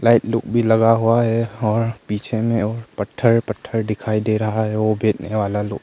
एक लोग भी लगा हुआ है और पीछे में और पत्थर पत्थर दिखाई दे रहा है और वो भेजने वाला लोग--